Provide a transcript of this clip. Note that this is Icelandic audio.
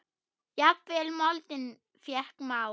Jafnvel moldin fékk mál.